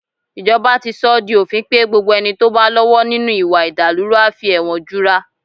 Ìjọba ti sọ ọ́ di òfin pé gbogbo ẹni tó bá lọ́wọ́ nínú ìwà ìdàlúrú a fi ẹ̀wọ̀n jura